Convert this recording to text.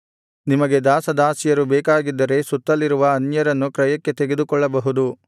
ನಿಮಗೆ ದಾಸದಾಸಿಯರು ಬೇಕಾಗಿದ್ದರೆ ಸುತ್ತಲಿರುವ ಅನ್ಯರನ್ನು ಕ್ರಯಕ್ಕೆ ತೆಗೆದುಕೊಳ್ಳಬಹುದು